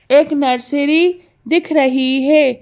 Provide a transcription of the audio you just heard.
एक नर्सरी दिख रही है।